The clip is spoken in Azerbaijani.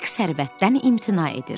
Hek sərvətdən imtina edir.